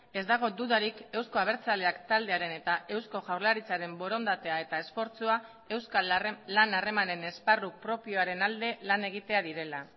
ez dago dudarik euzko abertzaleak taldearen eta eusko jaurlaritzaren borondatea eta esfortzua euskal lan harremanen esparru propioaren alde lan egitea direla